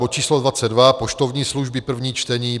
bod číslo 22, poštovní služby, první čtení,